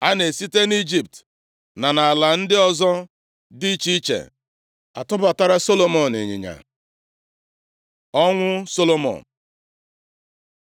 A na-esite nʼIjipt na nʼala ndị ọzọ dị iche iche atụbatara Solomọn ịnyịnya. Ọnwụ Solomọn